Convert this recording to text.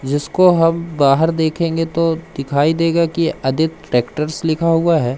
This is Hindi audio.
जिसको हम बाहर देखेंगे तो दिखाई देगा कि आदित ट्रैक्टर्स लिखा हुआ है।